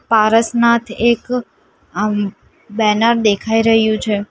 પારસનાથ એક અમ્મ બેનર દેખાઈ રહ્યું છે.